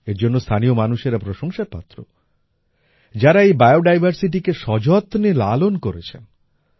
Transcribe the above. এর জন্য স্থানীয় মানুষেরা প্রশংসার পাত্র যারা এই বায়োডাইভারসিটি কে সযত্নে লালন করেছেন